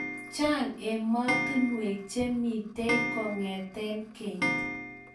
Chang emostunwek che mitey kongete keny